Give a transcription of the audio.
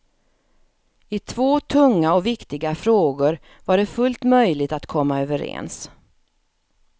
I två tunga och viktiga frågor var det fullt möjligt att komma överens.